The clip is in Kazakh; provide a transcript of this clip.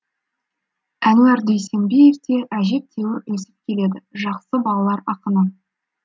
әнуар дүйсенбиев те әжептеуір өсіп келеді жақсы балалар ақыны